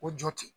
O jɔ ten